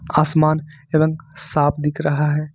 आसमान रंग साफ दिख रहा है।